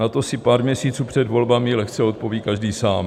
Na to si pár měsíců před volbami lehce odpoví každý sám.